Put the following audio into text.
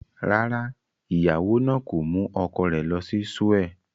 Rárá, ìyàwó náà kò mú ọkọ rẹ̀ lọ sí Seoul.